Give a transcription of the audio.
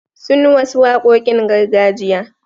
Sun wasu waƙoƙin gargajiya.